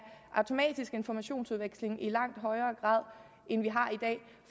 automatisk informationsudveksling i langt højere grad end